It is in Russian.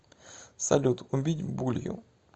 салют убить булью